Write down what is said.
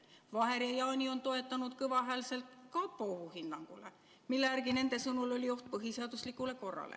Vaher ja Jaani on toetunud kõvahäälselt kapo ohuhinnangule, mille järgi nende sõnul oli oht põhiseaduslikule korrale.